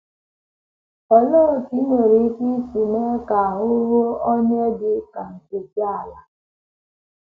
Olee otú i nwere ike isi mee ka ahụ́ ruo onye dị ka Nkechi ala?